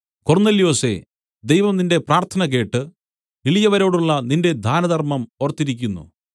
കൊർന്നൊല്യോസേ ദൈവം നിന്റെ പ്രാർത്ഥന കേട്ട് എളിയവരോടുളള നിന്റെ ദാനധർമ്മം ഓർത്തിരിക്കുന്നു